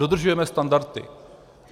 Dodržujeme standardy.